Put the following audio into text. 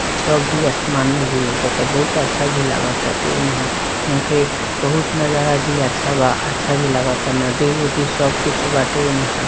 छब भी आसमान में भी लोकाता बहुत अच्छा भी लागा ताटे इहां इहां के बहुत नजारा भी अच्छा बा अच्छा भी लगाता नदी उदी सब कुछ बाटे इहाँ।